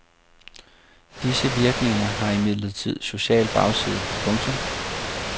Disse virkninger har imidlertid social bagside. punktum